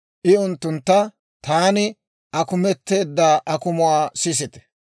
I unttuntta, «Taani akumeteedda akumuwaa sisite.